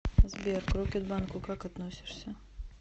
сбер к рокетбанку как относишься